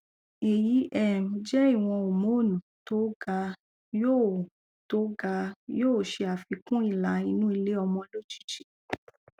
èyí um jẹ ìwọn homonu tó ga yóò tó ga yóò ṣe àfikún ìlà inú iléọmọ lójijì